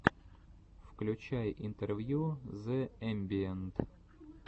включай интервью зэ эмбиэнт